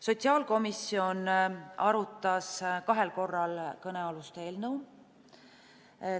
Sotsiaalkomisjon arutas kõnealust eelnõu kahel korral.